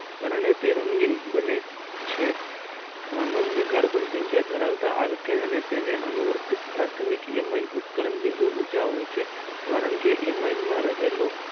હરને તે રંગીન બને છે સામાનિયા કાર્બન સખીયા ધરાવતા આર્થિક અને તને અનુરૂપ પાર્થીમિક સંકલન બીડું હોય છે કારણકે એમાં રહે લો